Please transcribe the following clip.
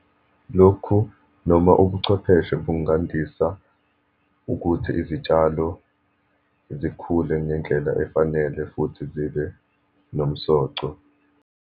Lokhu noma ubuchwepheshe, bungandisa ukuthi izitshalo zikhule ngendlela efanele futhi zibe nomsoco.